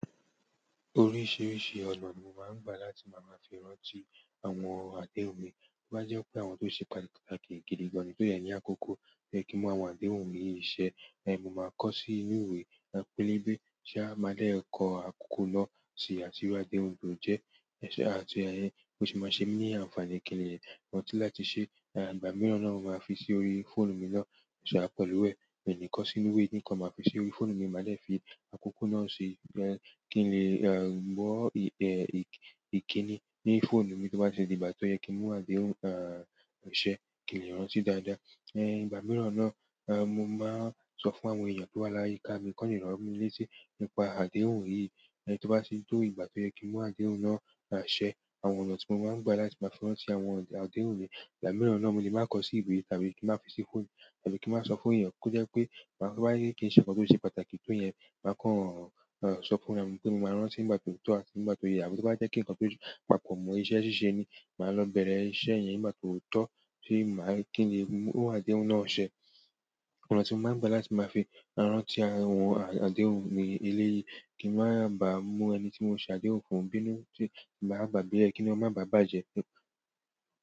Oríṣiríṣi ọ̀nà ni mo máa ń gbà láti máa ma fi rántí àwọn àdéhùn mi. Bó bá jẹ́ pé àwọn tó ṣe pàtàkì gidi gan-an nì tó yẹ ní àkókò to ye kí n mú àwọn àdéhùn mi yìí ṣẹ, eh, mo máa kọ sí inú ìwé, pelebe ṣá, máa dè kọ àkókò náà ṣì àti iru àdéhùn tó jẹ́ iṣẹ́ àti ayẹyẹ ó sì máa ṣe mí ní àǹfààní kì n le. Rántí láti ṣe, ìgbà mìíràn na mọ ma fí sí orí fóònù mi no sa pẹ̀lú é. Mo de lẹ ko sínú ìwé kan máa fi sí orí fóònù mi, màá lè fi àkókò náà sì kí n lè, eh, gbọ́, eh, ìkíni ní fóònù mi tó bá ṣe di ìgbà tó yẹ kí n mú àdéhùn, ah, ṣẹ, kí n lè rántí dáadáa. Eh, ìgbà mìíràn náà, eh, mo máa sọ fún àwọn èèyàn tó wà láyé ká mi kọ́ni rántí ọ̀rọ̀ mi léṣe nípa àdéhùn yìí. Eh, tó bá sì tó ìgbà tó yẹ kí n mú àdéhùn náà ṣẹ, àwọn ọ̀nà tí mo máa ń gbà láti máa fi rántí àwọn àdéhùn mi, ìgbà mìíràn náà mo lè máa kọ sí ìwé tàbí kí n máa fi sí fóònù tàbí kí n máa sọ fún èèyàn kó jẹ́ pé bá, bá yẹ kí n ṣe nǹkan tó ṣe pàtàkì tó yẹn, màá kọ́ sọ fún mi pé mo máa rántí nígbà tó yẹ tó àti nígbà tó yẹ. Àbí tó bá jẹ́ kí n kan tó papọ̀ mọ́ iṣẹ́ ṣíṣe ni, màá lọ bẹ̀rẹ̀ iṣẹ́ yẹn nígbà tó yẹ tó, kí n lè mú àdéhùn náà ṣẹ. Ọ̀nà tí mo máa ń gbà láti máa fi rántí àwọn àdéhùn mi eléyìí kí n máa ba mu ẹni tí mo ṣe àdéhùn fún bí nú ki màá gbagbe e kí inú e máa ba bàjẹ́.